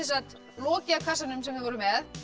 lokið á kassanum sem þið voruð með